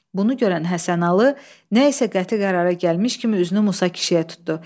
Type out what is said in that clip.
Bunu görən Həsənalı nə isə qəti qərara gəlmiş kimi üzünü Musa kişiyə tutdu.